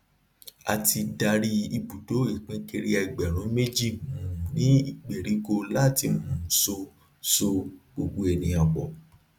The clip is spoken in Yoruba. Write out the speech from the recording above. a ti darí ibùdó ipínkiri ẹgbẹrún méjì um ní gberiko láti um so so gbogbo ènìyàn pọ